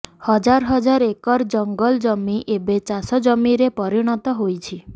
ହଜାର ହଜାର ଏକର ଜଂଗଲ ଜମି ଏବେ ଚାଷ ଜମିରେ ପରିଣତ ହୋଇଛି